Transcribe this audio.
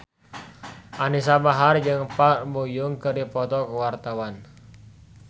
Anisa Bahar jeung Park Bo Yung keur dipoto ku wartawan